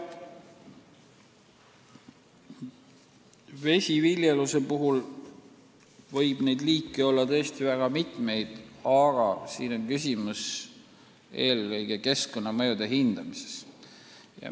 Vesiviljeluse puhul võib neid liike olla väga mitmeid, aga siin on küsimus eelkõige keskkonnamõjude hindamises.